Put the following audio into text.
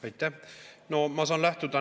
Aitäh!